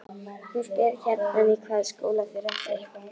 Hún spyr gjarnan í hvaða skóla þeir ætli.